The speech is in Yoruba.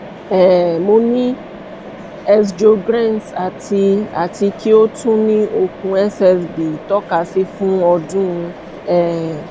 um mo ni sjogrens ati ati ki o tun ni okun ssb itọkasi fun odun um